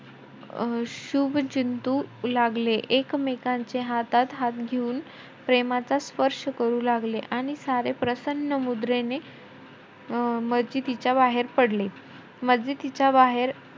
अं शुभचिंतु लागले, एकमेकांचा हातात हात घेऊन प्रेमाचा स्पर्श करू लागले. आणि सारे प्रसन्न मुद्रेने अं मस्जिदीच्या बाहेर पडले. मस्जिदीच्या बाहेर,